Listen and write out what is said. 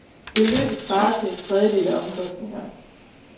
Beløbet svarer til en tredjedel af omkostningerne.